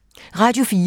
Radio 4